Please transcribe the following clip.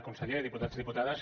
conseller diputats diputades